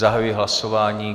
Zahajuji hlasování.